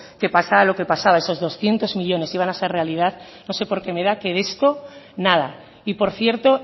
que pasara lo que pasará esos doscientos millónes iban a ser realidad no sé porqué me da que de esto nada y por cierto